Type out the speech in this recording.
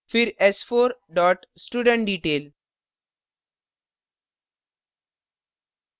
फिर s4 dot studentdetail